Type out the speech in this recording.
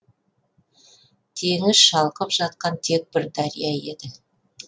теңіз шалқып жатқан тек бір дария еді